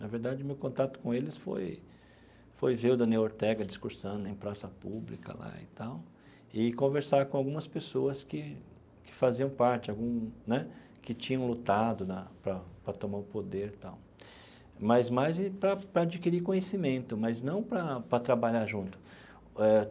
Na verdade, o meu contato com eles foi foi ver o Daniel Ortega discursando em praça pública lá e tal e conversar com algumas pessoas que que faziam parte algum né, que tinham lutado na para para tomar o poder e tal, mas mais de para para adquirir conhecimento, mas não para para trabalhar junto eh.